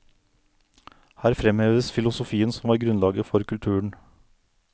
Her fremheves filosofien som var grunnlaget for kulturen.